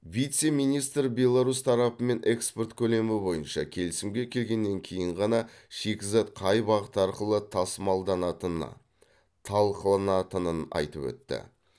вице министр беларусь тарапымен экспорт көлемі бойынша келісімге келгеннен кейін ғана шикізат қай бағыт арқылы тасымалданатыны талқыланатынын айтып өтті